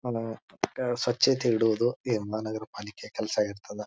ಏ ಸ್ವಚ್ಛತೆ ಇಡುವುದು ಮಹಾನಗರ ಪಾಲಿಕೆಯ ಕೆಲಸ ಇರ್ತದ.